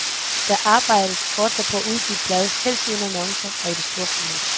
Der arbejdes fortsat på at udgive et blad, helst uden annoncer og i det store format.